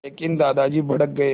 लेकिन दादाजी भड़क गए